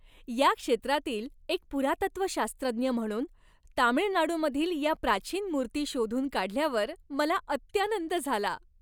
या क्षेत्रातील एक पुरातत्वशास्त्रज्ञ म्हणून, तामिळनाडूमधील या प्राचीन मूर्ती शोधून काढल्यावर मला अत्यानंद झाला.